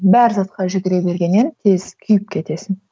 бар затқа жүгіре бергеннен тез күйіп кетесің